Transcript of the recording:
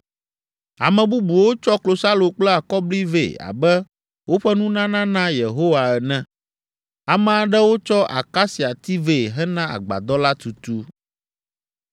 Ame bubuwo tsɔ klosalo kple akɔbli vɛ abe woƒe nunana na Yehowa ene. Ame aɖewo tsɔ akasiati vɛ hena agbadɔ la tutu.